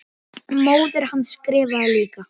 Og hann hafði talað.